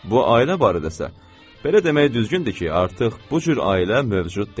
Bu ailə barədəsə, belə demək düzgündür ki, artıq bu cür ailə mövcud deyil.